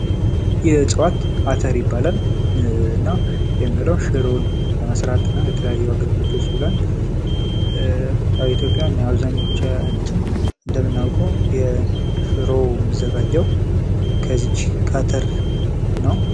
ይህ እጽዋት አተር ይባላል። እና ሽሮን ለመስራት እና ለተለያዩ አገልግሎቶች ይውላል ። በኢትዮጵያ አብዛኞቻችን እንደምናቀው ሽሮ የሚዘጋጀው ከዚች ከአትር ነው።